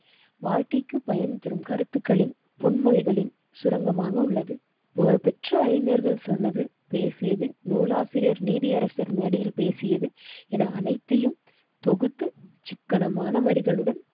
வாழ்க்கைக்குப் பயன் தரும் கருத்துக்களின் பொன்மொழிகளில் சுரங்கமாக உள்ளது. புகழ்பெற்ற அறிஞர்கள் சொன்னது பேசியது நூலாசிரியர் நீதியரசர் மேடையில் பேசியதும் என அனைத்தையும் தொகுத்து சிக்கனமான வரிகளுடன்